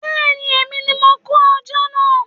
Bẹ́ẹ̀ni, èmi ní mo kó ajá náà